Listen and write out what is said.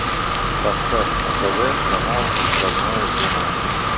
поставь на тв канал родное кино